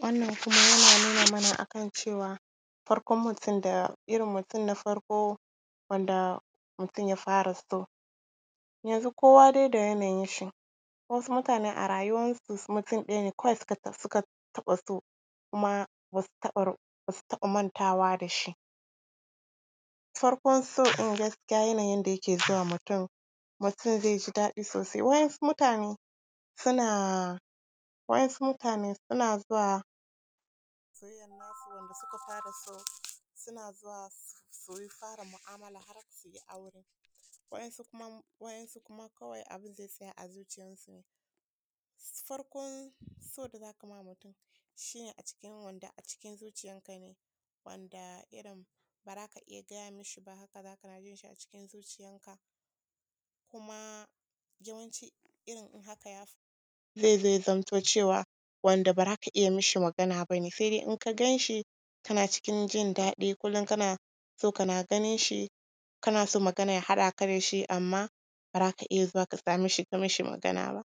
Wannan kuma yana nuna mana a kan cewa farkon mutum, irin mutum na farko wanda mutum ya fara so. Yanzu dai kowa da yanayinshi: wasu mutane a rayuwansu mutum ɗaya ne kawai suka taɓa so, kuma ba su taɓa mantawa da shi. Farkon so ɗin gaskiya yanayin yadda yake zuwa ma mutum, mutum zai ji daɗi sosai, waɗansu mutane suna… waɗansu mutane suna zuwa soyayyan nasu, wanda suka fara so, suna zuwa su yi, su fara mu’amala, har su yi aure. Waɗansu kuma, waɗansu kuma kawai abin zai tsaya a zuciyansu. Farkon so da za ka ma mutum shi ne a cikin wanda a cikin zuciyanka ne, wanda irin ba za ka iya ga mishi ba haka, za kana jin shi a cikin zuciyanka kuma yawanci in haka ya… zai zo ya zamto cewa wanda ba za ka iya mishi magana ba ne, sai dai in ka gan shi kana cikin jin daɗi, kullum kana son kana ganin shi, kana son magana ya haɗa ka da shi amma ba za ka iya zuwa ka same shi, ka yi mishi magana ba.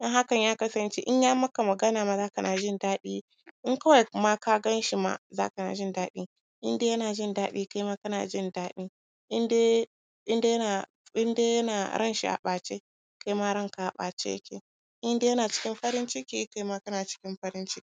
In hakan ya kasance, ya maka magana, kai ne ma za kana jin daɗi, in kawai ma ka gan shi ma, za kana jin daɗi, in dai yana jin daɗi, kai ma kana jin daɗi. in dai yana, in dai yana ranshi a ɓace, kai ma ranka a ɓace yake. In dai yana cikin farin ciki, kai ma kana cikin farin ciki.